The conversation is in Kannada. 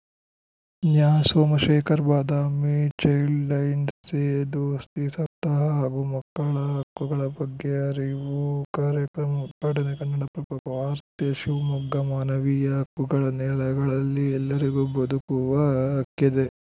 ನ್ಯಾಸೋಮಶೇಖರ್‌ ಬಾದಾಮಿ ಚೈಲ್ಡ್‌ ಲೈನ್‌ ಸೇ ದೋಸ್ತಿ ಸಪ್ತಾಹ ಹಾಗೂ ಮಕ್ಕಳ ಹಕ್ಕುಗಳ ಬಗ್ಗೆ ಅರಿವು ಕಾರ್ಯಕ್ರಮ ಉದ್ಘಾಟನೆ ಕನ್ನಡಪ್ರಭ ವಾರ್ತೆ ಶಿವಮೊಗ್ಗ ಮಾನವೀಯ ಹಕ್ಕುಗಳ ನೆಲೆಗಳಲ್ಲಿ ಎಲ್ಲರಿಗೂ ಬದುಕುವ ಹಕ್ಕಿದೆ